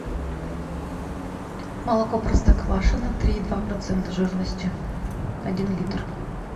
молоко простоквашино три и два процента жирности один литр